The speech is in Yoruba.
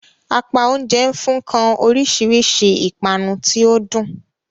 Apá oúnjẹ nfun kan orísirísi ipanu tí o dun.